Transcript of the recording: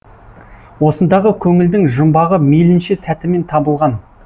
осындағы көңілдің жұмбағы мейлінше сәтімен табылған